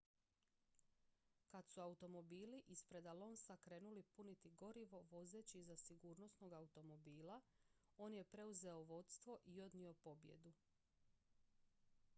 kad su automobili ispred alonsa krenuli puniti gorivo vozeći iza sigurnosnog automobila on je preuzeo vodstvo i odnio pobjedu